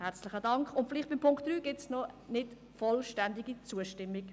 Bei Punkt 3 gibt es eine, vielleicht nicht vollständige, Zustimmung.